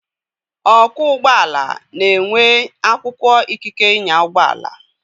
Ọkwọ ụgbọala na-enwe akwụkwọ ikike ịnya ụgbọala.